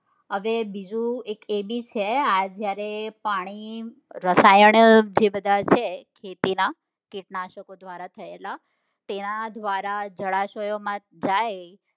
હવે બીજું એક એ બી છે આ જયારે પાણી રસાયણ જે બધા છે તેના કીટનાશકો દ્વારા થયેલા તેના દ્વારા જળાશયો માં જાય